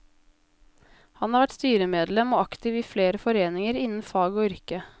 Han har vært styremedlem og aktiv i flere foreninger innen fag og yrke.